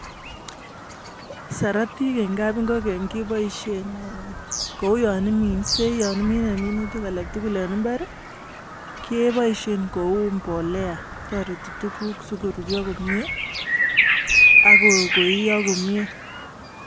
sarutik eng kabingokenik keboishei amu ya imine minutik alektukul eng mbar keboishei amu tareti tukuk si koruryo konyei akoiyo komyei